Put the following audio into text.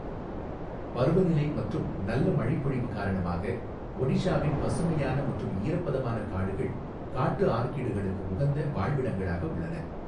பருவநிலை மற்றும் நல்ல மழைப்பொழிவு காரணமாக, ஒடிஷாவின் பசுமையான மற்றும் ஈரப்பதமான காடுகள் காட்டு ஆர்க்கிடுகளுக்கு உகந்த வாழ்விடங்களாக உள்ளன.